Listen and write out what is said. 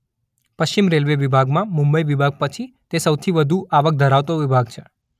પશ્ચિમ રેલ્વે વિભાગમાં મુંબઈ વિભાગ પછી તે સૌથી વધુ આવક ધરાવતો વિભાગ છે.